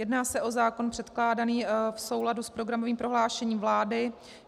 Jedná se o zákon předkládaný v souladu s programovým prohlášením vlády.